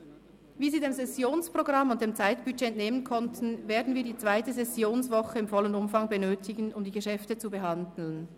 Wie Sie dem Sessionsprogramm und dem Zeitbudget haben entnehmen können, werden wir die zweite Sessionswoche im vollen Umfang benötigen, um die Geschäfte zu behandeln.